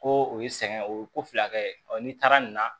Ko o ye sɛgɛn o ye ko fila kɛ n'i taara nin na